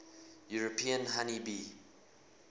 european honey bee